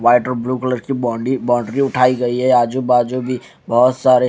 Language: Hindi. व्हाइट और ब्लू कलर की बांडी बाउंड्री उठाई गई है आजू बाजू भी बहुत सारे--